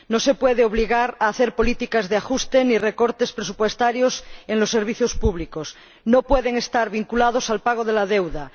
No se puede obligar a hacer políticas de ajuste ni recortes presupuestarios en los servicios públicos. Las ayudas no pueden estar vinculadas al pago de la deuda.